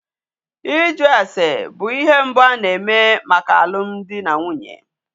Ịjụ ase bụ ihe mbụ a na-eme maka alụ dị na nwunye.